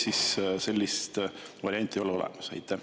Või sellist varianti ei ole olemas?